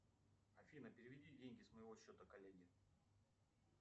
афина переведи деньги с моего счета коллеге